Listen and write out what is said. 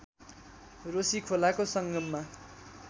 रोशी खोलाको सङ्गममा